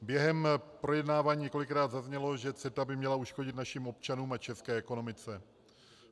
Během projednávání několikrát zaznělo, že CETA by měla uškodit našim občanům a české ekonomice.